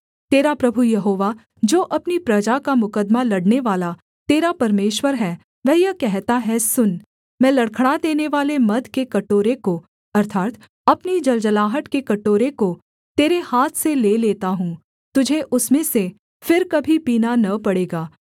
तेरा प्रभु यहोवा जो अपनी प्रजा का मुकद्दमा लड़नेवाला तेरा परमेश्वर है वह यह कहता है सुन मैं लड़खड़ा देनेवाले मद के कटोरे को अर्थात् अपनी जलजलाहट के कटोरे को तेरे हाथ से ले लेता हूँ तुझे उसमें से फिर कभी पीना न पड़ेगा